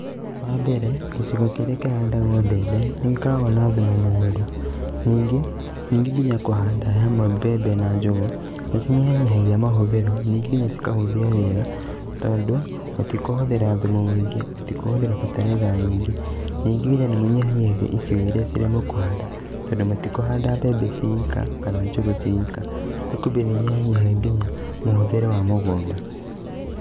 Wa mbere, gĩcigo kĩrĩa kĩhandagwo mbembe, nĩ gĩkoragwo na thumu mũnoru, ningĩ, ningĩ kũhanda hamwe mbembe na njũgũ, nĩcinyihanyihagia mahũthĩro, nyingĩ nginya cikahũthia wĩra, tondũ mũtikũhũthĩra thumu mũingi, mũtikũhũthĩra bataraitha nyingĩ. Nyingĩ nginya nĩ mũnyihanyihagia icigo iria mũkũhanda tondũ mũtikũhanda mbembe ciĩ ika kana njũgũ ciĩ ika. kumbe nĩ inyihanyihagia nginya mũhũthĩrĩre wa mũgũnda.